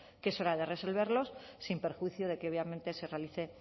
que es hora de resolverlos sin perjuicio de que obviamente se realice